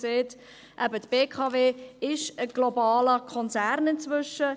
Dort sieht man, dass die BKW inzwischen ein globaler Konzern ist.